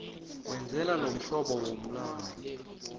wenze lomhlobo womlandu